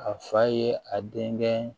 A fa ye a denkɛ